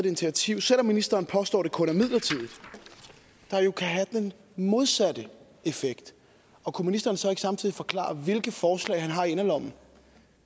initiativ selv om ministeren påstår det kun er midlertidigt der jo kan have den modsatte effekt og kunne ministeren så ikke samtidig forklare hvilke forslag han har i inderlommen